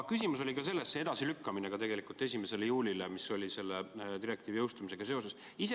Küsimus oli selle edasilükkamise puhul 1. juulile direktiivi jõustumisega seoses ka järgmises.